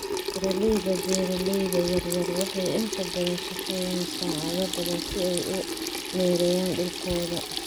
Beeraleyda beeraleyda yaryar waxay inta badan shaqeeyaan saacado badan si ay u maareeyaan dhulkooda.